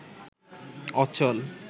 অচল